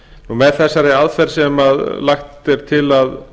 með þessari aðferð sem lagt er til að